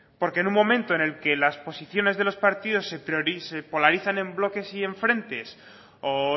porque en un momento en que las posiciones de los partidos se polarizan en bloques y en frentes o